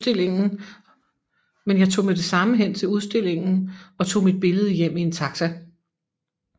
Men jeg tog med det samme hen til udstillingen og tog mit billede hjem i en taxi